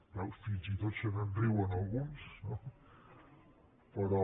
veus fins i tot se’n riuen alguns no però